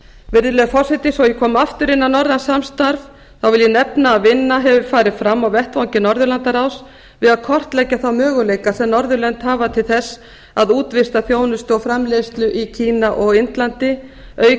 virðulegi forseti svo að ég komi aftur inn á norrænt samstarf vil ég nefna að vinna hefur farið fram á vettvangi norðurlandaráðs við að kortleggja þá möguleika sem norðurlönd hafa til þess að útvista þjónustu og framleiðslu í kína og indlandi auk